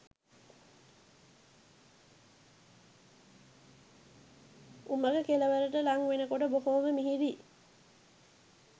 උමග කෙළවරට ළං වෙනකොට බොහොම මිහිරි